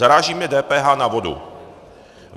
Zaráží mě DPH na vodu.